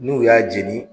N'u y'a jeni